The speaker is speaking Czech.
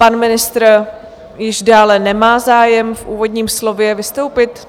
Pan ministr již dále nemá zájem v úvodním slově vystoupit?